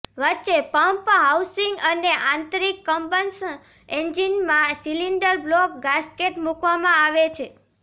વચ્ચે pump housing અને આંતરિક કમ્બશન એન્જિનમાં સિલીંડર બ્લોક ગાસ્કેટ મૂકવામાં આવે છે